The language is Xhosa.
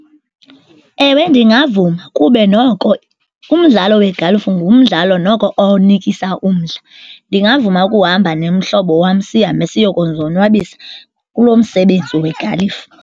Ewe, ndingavuma kube noko umdlalo wegalufa ngumdlalo noko onikisa umdla. Ndingavuma ukuhamba nomhlobo wam sihambe siye kuzonwabisa kuloo msebenzi wegalufa.